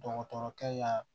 Dɔgɔtɔrɔkɛ ya